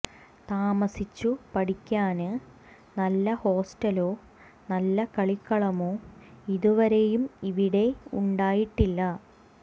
താമസിച്ചു പഠിക്കാന് നല്ല ഹോസ്റ്റലോ നല്ല കളിക്കളമോ ഇതുവരെയും ഇവിടെ ഉണ്ടായിട്ടില്ല